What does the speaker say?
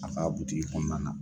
A a kaa butigi kɔnɔna na.